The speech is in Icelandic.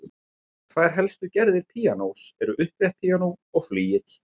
Tvær helstu gerðir píanós eru upprétt píanó og flygill.